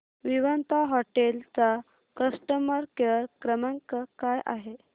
Vivanta hotel चा customer care क्रमांक काय आहे